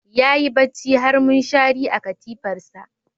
Yayi bacci har mushari a katifarsa.